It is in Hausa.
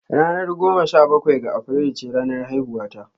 Ranar goma sha bakwai ga Afrilu ce ranar haihuwata.